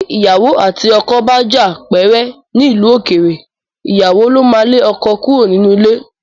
Bí ìyàwó àti ọkọ bá jà pẹ́rẹ́ nílùú òkèèrè, ìyàwó ló máa ń lé ọkọ kúrò nínú ilé